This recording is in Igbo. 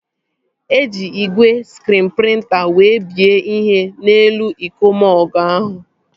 Eji igwe skriin prịnta wee bie ihe n'elu iko mọgụ ahụ